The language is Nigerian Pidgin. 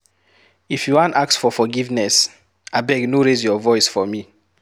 If you wan ask for forgiveness, abeg no raise your voice for me